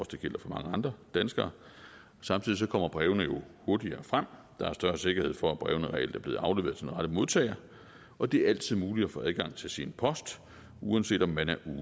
det gælder for mange andre danskere samtidig kommer brevene jo hurtigere frem og der er større sikkerhed for at brevene reelt er blevet afleveret til den rette modtager og det er altid muligt at få adgang til sin post uanset om man er